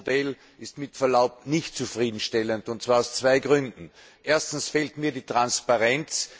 Dieses Modell ist mit Verlaub nicht zufriedenstellend, und zwar aus zwei Gründen Erstens fehlt mir die Transparenz.